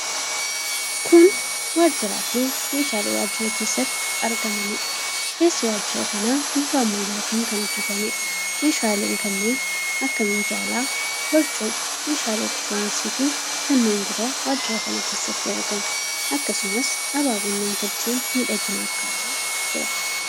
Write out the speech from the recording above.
Kun waajjiraa fi meeshaalee waajjira keessatti argamaniidha. Keessi waajjira kanaa bifa ammayyaatiin kan hojjetameedha. Meeshaaleen kanneen akka minjaala, barcuma, meeshaalee elektirooniksii fi kanneen biroo waajjira kana keessatti argamu. Akkasumas, abaaboon namtolcheen miidhaginaaf kaa'amee jira.